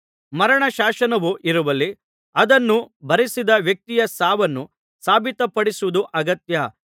ಮರಣ ಶಾಸನವು ಇರುವಲ್ಲಿ ಆದನ್ನು ಬರೆಸಿದ ವ್ಯಕ್ತಿಯ ಸಾವನ್ನು ಸಾಬೀತಪಡಿಸುವುದು ಅಗತ್ಯ